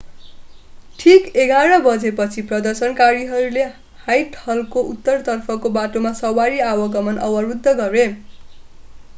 ठिक 11:00 बजेपछि प्रदर्शनकारीहरूले ह्वाइटहलको उत्तरतर्फको बाटोमा सवारी आवागमन अवरुद्ध गरे